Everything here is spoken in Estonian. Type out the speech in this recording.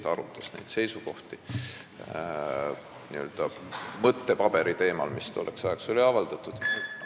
Ta arutas neid seisukohti n-ö mõttepaberi alusel, mis oli tolleks ajaks avaldatud.